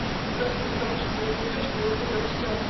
просто потому что я люблю чтобы было всё